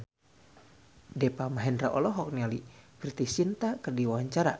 Deva Mahendra olohok ningali Preity Zinta keur diwawancara